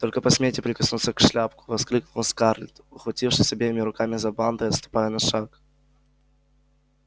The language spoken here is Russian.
только посмейте прикоснуться к шляпку воскликнула скарлетт ухватившись обеими руками за бант и отступая на шаг